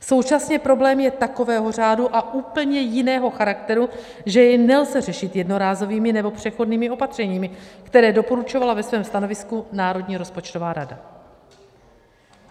Současně problém je takového řádu a úplně jiného charakteru, že jej nelze řešit jednorázovými nebo přechodnými opatřeními, která doporučovala ve svém stanovisku Národní rozpočtová rada.